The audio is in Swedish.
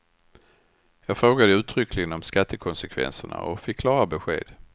Jag frågade ju uttryckligen om skattekonsekvenserna och fick klara besked.